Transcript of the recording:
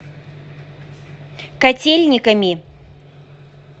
котельниками